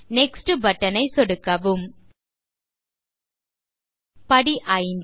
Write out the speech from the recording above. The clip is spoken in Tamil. நெக்ஸ்ட் பட்டன் ஐ சொடுக்கவும் படி 5